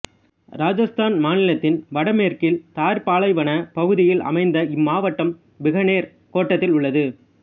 இராஜஸ்தான் மாநிலத்தின் வடமேற்கில் தார் பாலைவனப் பகுதியில் அமைந்த இம்மாவட்டம் பிகானேர் கோட்டத்தில் உள்ளது